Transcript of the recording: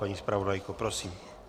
Paní zpravodajko, prosím.